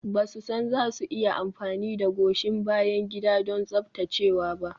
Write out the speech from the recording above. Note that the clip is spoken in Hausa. Ba su san za su iya amfani da goshin bayan gida don tsaftacewa ba.